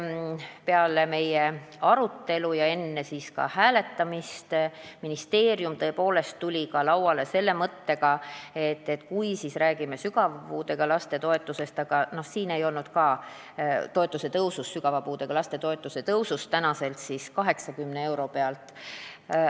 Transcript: Peale meie arutelu ja enne hääletamist tuli ministeerium välja ka selle mõttega, et kui toetusi tõsta, siis tuleks rääkida sügava puudega laste toetuse tõusust praeguse 80 euro pealt.